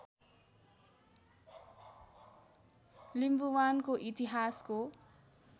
लिम्बुवानको इतिहासको